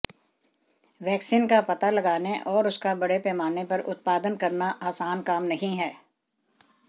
vaccine का पता लगाने और उसका बड़े पैमाने पर उत्पादन करना आसान काम नहीं है